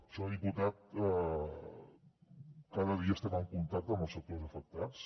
senyor diputat cada dia estem en contacte amb els sectors afectats